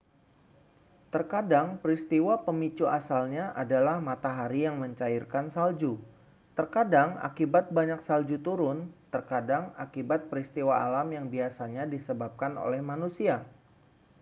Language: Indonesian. terkadang peristiwa pemicu asalnya adalah matahari yang mencairkan salju terkadang akibat banyak salju turun terkadang akibat peristiwa alam yang biasanya disebabkan oleh manusia